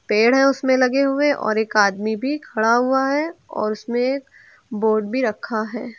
पेड़ है उसमें लगे हुए और एक आदमी भी खड़ा हुआ है और उसमें बोर्ड भी रखा है।